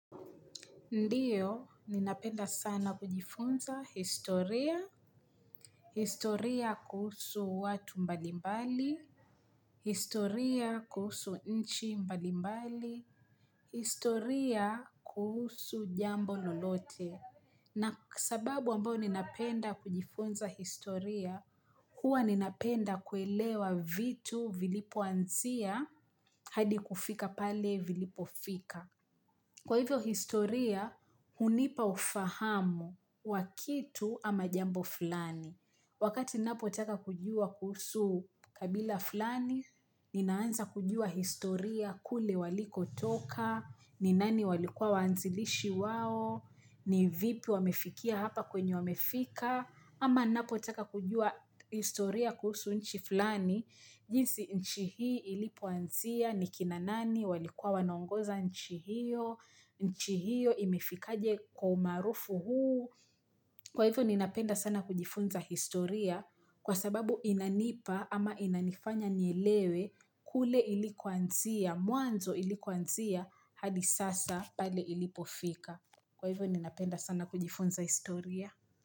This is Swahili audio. Ndiyo, ninapenda sana kujifunza historia, historia kuhusu watu mbalimbali, historia kuhusu nchi mbalimbali, historia kuhusu jambo lolote. Na sababu ambao ninapenda kujifunza historia, huwa ninapenda kuelewa vitu vilipoanzia hadi kufika pale vilipofika. Kwa hivyo historia, hunipa ufahamu wa kitu ama jambo fulani. Wakati napotaka kujua kuhusu kabila fulani, ninaanza kujua historia kule walikotoka, ni nani walikuwa wanzilishi wao, ni vipi wamefikia hapa kwenye wamefika, ama napotaka kujua historia kuhusu nchi fulani, jinsi nchi hii ilipoanzia, ni kina nani, walikuwa wanaongoza nchi hiyo, nchi hiyo imefikaje kwa umaarufu huu, kwa hivyo ninapenda sana kujifunza historia kwa sababu inanipa ama inanifanya nielewe kule ilikoanzia, mwanzo ilikoanzia hadi sasa pale ilipofika. Kwa hivyo ninapenda sana kujifunza historia.